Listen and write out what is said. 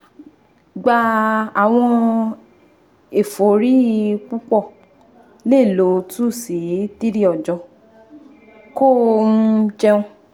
gba awọn efori pupọ le lọ two si three ọjọ ko um jẹun